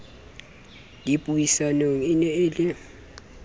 dipuisanong e ne e le